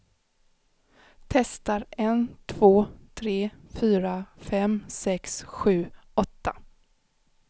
Testar en två tre fyra fem sex sju åtta.